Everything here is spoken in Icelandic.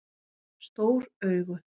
Stór augu